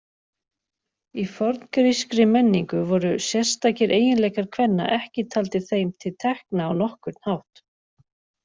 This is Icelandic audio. Í forngrískri menningu voru sérstakir eiginleikar kvenna ekki taldir þeim til tekna á nokkurn hátt.